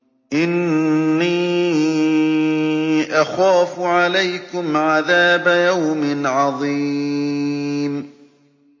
إِنِّي أَخَافُ عَلَيْكُمْ عَذَابَ يَوْمٍ عَظِيمٍ